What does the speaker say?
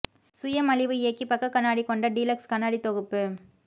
சுய மலிவு இயக்கி பக்க கண்ணாடி கொண்ட டீலக்ஸ் கண்ணாடி தொகுப்பு